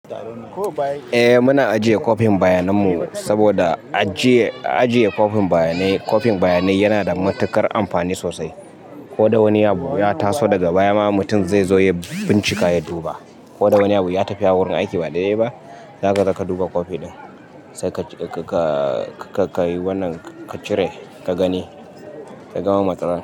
Eh muna ajiye kwafin bayanan mu saboda ajiye kwafin bayanai, kwafin bayanai yana da matuƙar amfani sosai. Ko da wani abu ya taso daga baya ma mutum zai zo ya bincika ya duba. Ko da wani abu ya tafi ya wurin aiki ba daiɗai ba, zaka zo ka duba kwafi ɗin. Sai ka yi wannan ka cire ka gani, ka gama matsalar.